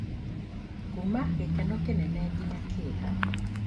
kuuma gĩkeno kĩnene nginya kĩeha.